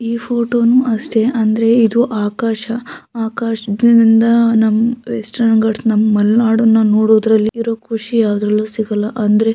ಈ ಫೋಟೋ ನೂ ಅಷ್ಟೇ ಅಂದ್ರೆ ಇದು ಆಕಾಶ ಆಕಾಶದಿಂದ ನಮ್ ವೆಸ್ಟೆರ್ನ್ ಗಾಟ್ಸ್ ನಮ್ ಮಲ್ನಾಡನ್ನ ನೋಡೋದ್ರಲ್ಲಿ ಇರೋ ಖುಷಿ ಯಾವದ್ರಲ್ಲೂ ಸಿಗಲ್ಲ. ಅಂದ್ರೆ --